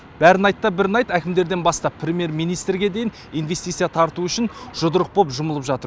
бәрін айтта бірін айт әкімдерден бастап премьер министрге дейін инвестция тарту үшін жұдырық боп жұмылып жатыр